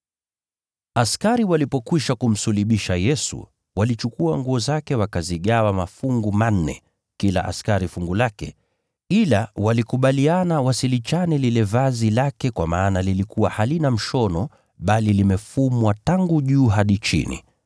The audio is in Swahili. Askari walipokwisha kumsulubisha Yesu, walichukua nguo zake wakazigawa mafungu manne, kila askari fungu lake. Ila walikubaliana wasilichane lile vazi lake kwa maana lilikuwa halina mshono bali limefumwa tangu juu hadi chini.